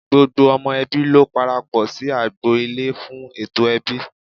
Gbogbo ọmọ ẹbí ló parapọ̀ sí agbo- ilé fún ètò ẹbí.